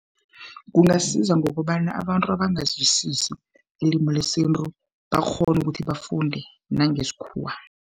Kungasiza ngokobana abantu abangazwisisi ilimi lesintu, bakghone ukuthi bafunde nangesikhuwa.